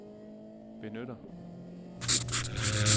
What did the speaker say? benytter